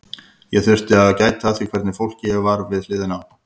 Og ég þurfti að gæta að því hvernig fólki ég var við hliðina á.